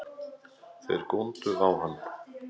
Þeir góndu á hann.